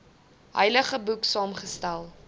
heilige boek saamgestel